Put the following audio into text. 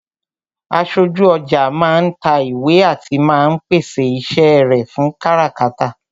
Aṣojú ọjà máa ń ta ìwé àti máa ń pèsè iṣẹ́ rẹ fún káràkátà